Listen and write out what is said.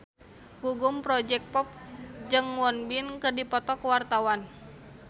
Gugum Project Pop jeung Won Bin keur dipoto ku wartawan